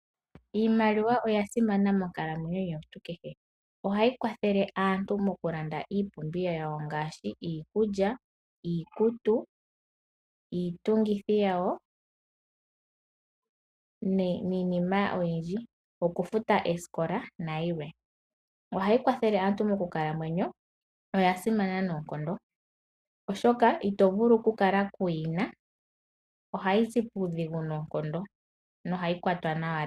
Iimaliwa oya simana monkalamwenyo yomuntu kehe. Ohayi kwathele aaantu mokulanda iipumbiwa yawo ngaashi iikulya, iikutu, iitungithi yawo niinima oyindji, okufuta oosikola nayilwe. Ohayi kwathele aantu mokukalamwenyo, oya simana noonkondo, oshoka ito vulu okukala kuuyi na. Ohayi zi puudhigu noonkondo nohayi kwatwa nawa.